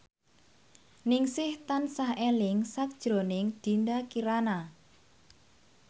Ningsih tansah eling sakjroning Dinda Kirana